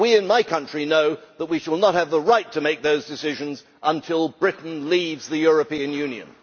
We in my country know that we shall not have the right to make those decisions until Britain leaves the European Union.